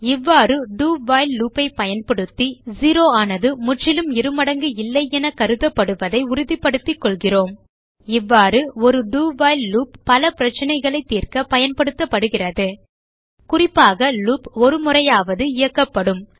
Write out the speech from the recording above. இவ்வாறு do while loop ஐ பயன்படுத்தி 0 ஆனது முற்றிலும் இருமடங்கு இல்லை என கருதப்படுவதை உறுதிப்படுத்திகொள்கிறோம் இவ்வாறு ஒரு do வைல் லூப் பல பிரச்சனைகளைத் தீர்க்க பயன்படுத்தப்படுகிறது குறிப்பாக லூப் ஒருமுறையாவது இயக்கப்படும்